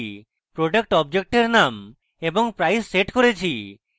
তারপর আমি product অবজেক্টের name এবং price set করেছি